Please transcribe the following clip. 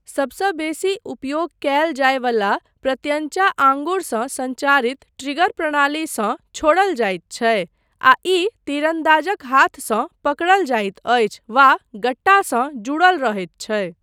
सबसँ बेसी उपयोग कयल जायवलामे प्रत्यञ्चा आँगुरसँ सञ्चारित ट्रिगर प्रणालीसँ छोड़ल जाइत छै आ ई तीरन्दाजक हाथसँ पकड़ल जाइत अछि वा गट्टासँ जुड़ल रहैत छै।